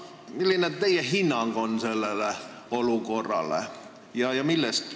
Milline teie hinnang on sellele olukorrale?